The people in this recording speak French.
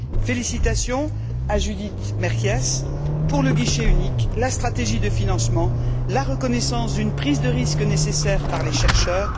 Félicitations à Judith Merkies pour le guichet unique, la stratégie de financement, la reconnaissance d'une prise de risque nécessaire par les chercheurs.